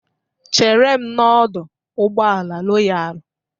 Chere m n'ọdọ ụgbọala Royalu.